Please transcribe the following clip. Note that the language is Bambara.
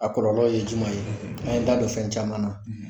A kɔlɔlɔ ye jumɛn ye n'a ye da don fɛn caman na